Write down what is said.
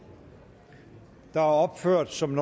der er opført som